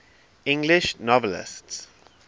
english novelists